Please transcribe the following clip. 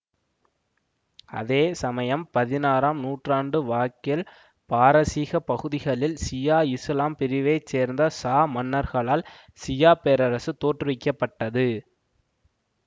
அதே சமயம் பதினாறாம் நூற்றாண்டு வாக்கில் பாரசீக பகுதிகளில் சியா இசுலாம் பிரிவை சேர்ந்த சா மன்னர்களால் சியா பேரரசு தோற்றுவிக்க பட்டது